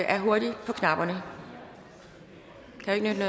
er hurtig på knapperne det kan jo ikke